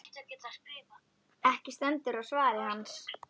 Ekki stendur á svari hans.